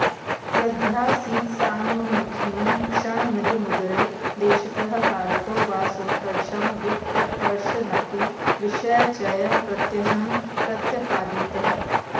यद्यासीत्साम्मुखीनं क्षणमिदमुदरे देशतः कालतो वा सोत्कर्षं विप्रकर्षन्नपि विषयचयः प्रत्यहं प्रत्यफालीत्